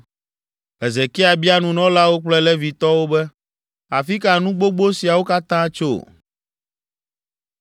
Hezekia bia nunɔlawo kple Levitɔwo be, “Afi ka nu gbogbo siawo katã tso?”